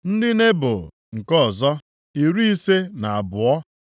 ndị Nebo nke ọzọ, iri ise na abụọ (52),